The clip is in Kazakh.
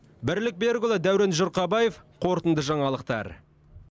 бірлік берікұлы дәурен жұрқабаев қорытынды жаңалықтар